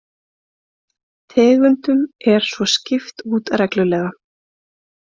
Tegundum er svo skipt út reglulega